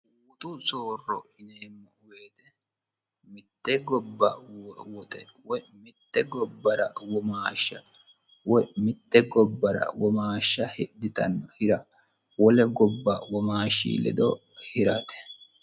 Guttu soorro yinnemo woyite Mitte gobba woxe woyi mitte gobbara womashsha woyi mitte gobbara womashsha hidhitano hirra wole gobba womashshi ledo hiratte